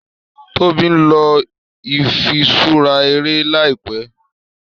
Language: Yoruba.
Tóbi nlọ ifiṣura eré láìpé.